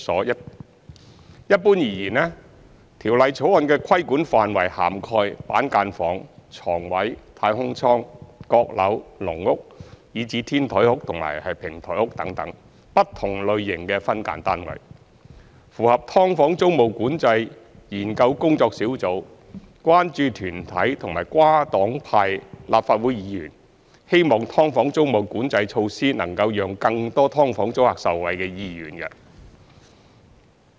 一般而言，《條例草案》的規管範圍涵蓋板間房、床位、"太空艙"、閣樓、"籠屋"，以至"天台屋"和"平台屋"等不同類型的分間單位，符合"劏房"租務管制研究工作小組、關注團體和跨黨派立法會議員希望"劏房"租務管制措施能讓更多"劏房"租客受惠的意願。